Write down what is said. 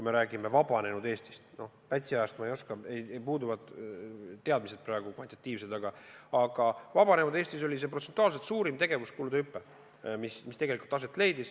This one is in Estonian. Pätsi aja kohta ma ei oska öelda, mul puuduvad teadmised, aga vabanenud Eestis oli see protsentuaalselt suurim tegevuskulude hüpe.